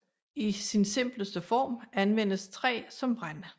I sin simpleste form anvendes træ som brænde